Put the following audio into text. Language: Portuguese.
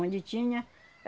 Onde tinha?